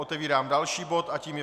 Otevírám další bod a tím je